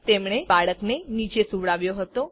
તેમણે બાળકને નીચે સુવડાવ્યો હતો